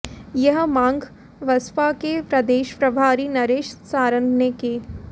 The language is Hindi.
यह मांग बसपा के प्रदेश प्रभारी नरेश सारन ने की